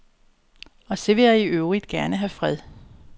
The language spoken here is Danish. Og så vil jeg i øvrigt gerne have fred.